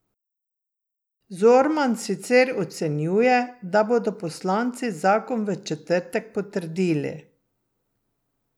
Zorman sicer ocenjuje, da bodo poslanci zakon v četrtek potrdili.